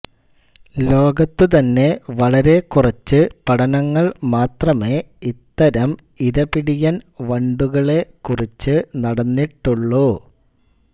ലോകത്തുതന്നെ വളരെക്കുറച്ച് പഠനങ്ങൾ മാത്രമേ ഇത്തരം ഇരപിടിയൻ വണ്ടുകളെകുറിച്ചു നടന്നിട്ടുള്ളു